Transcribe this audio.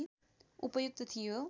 उपयुक्त थियो